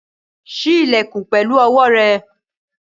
Ṣí ilẹ̀kùn pẹ̀lú owó rẹ̀!